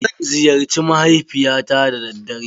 Zan ziyarci mahaifiyata da daddare.